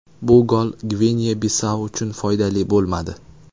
Bu gol Gvineya-Bisau uchun foydali bo‘lmadi.